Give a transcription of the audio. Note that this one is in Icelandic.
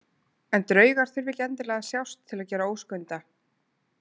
En draugar þurfa ekki endilega að sjást til að gera óskunda.